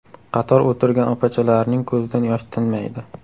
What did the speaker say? Qator o‘tirgan opachalarining ko‘zidan yosh tinmaydi.